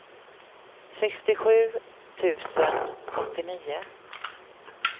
sextiosju tusen åttionio